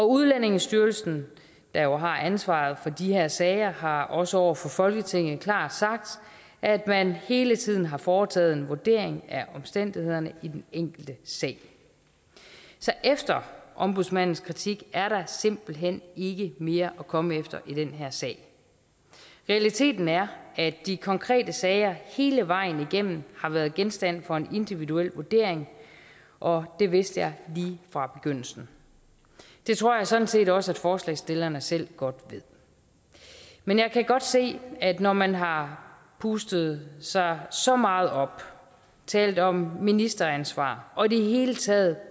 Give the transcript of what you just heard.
udlændingestyrelsen der jo har ansvaret for de her sager har også over for folketinget klart sagt at man hele tiden har foretaget en vurdering af omstændighederne i den enkelte sag så efter ombudsmandens kritik er der simpelt hen ikke mere at komme efter i den her sag realiteten er at de konkrete sager hele vejen igennem har været genstand for en individuel vurdering og det vidste jeg lige fra begyndelsen det tror jeg sådan set også forslagsstillerne selv godt ved men jeg kan godt se at når man har pustet sig så meget op talt om ministeransvar og i det hele taget